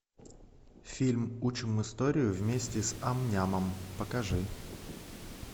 фильм учим историю вместе с ам нямом покажи